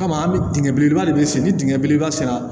Kama an bɛ dingɛ belebeleba de se ni dingɛ belebeleba sera